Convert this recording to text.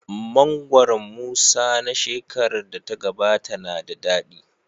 Mangoron Musa na shekarar da ta gabata na da dadi.